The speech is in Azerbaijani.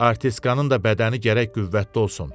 Artistkanın da bədəni gərək qüvvətli olsun.